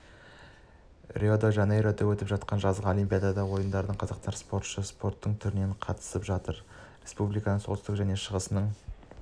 рио-де-жанейрода өтіп жатқан жазғы олимпиада ойындарына қазақстаннан спортшы спорттың түрінен қатысып жатыр республиканың солтүстігі және шығысының